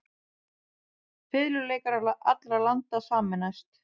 Fiðluleikarar allra landa sameinist.